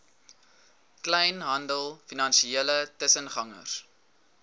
kleinhandel finansiële tussengangers